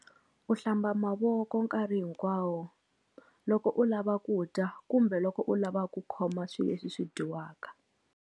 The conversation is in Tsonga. U hlamba mavoko nkarhi hinkwawo loko u lava ku dya kumbe loko u lava ku khoma swi leswi swi dyiwaka.